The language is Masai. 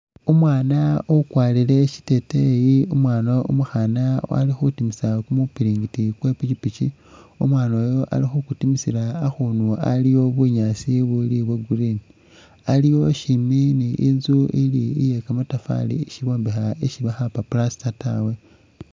Umwana ukwarile shiteteyi umwana umukhana alikhutimisa kumupiringiti kwepikipiki umwana oyu ali kukutimisila akundu aliwo bunyaasi buli bwo green aliwo shimbi ni inzu ili iyekamatafari isi bombekha isi bakhakupa plastertawe.